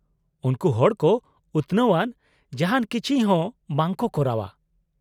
-ᱩᱱᱠᱩ ᱦᱚᱲ ᱠᱚ ᱩᱛᱱᱟᱹᱣ ᱟᱱ ᱡᱟᱦᱟᱱ ᱠᱤᱪᱷᱤ ᱦᱚᱸ ᱵᱟᱝ ᱠᱚ ᱠᱚᱨᱟᱣᱼᱟ ᱾